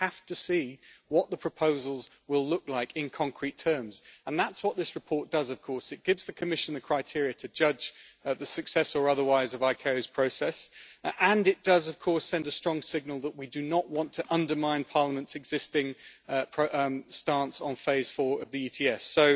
We have to see what the proposals will look like in concrete terms, and that is what this report does, of course, it gives the Commission the criteria to judge the success or otherwise of ICAO's process and it does, of course, send a strong signal that we do not want to undermine Parliament's existing stance on Phase 4 of the Emissions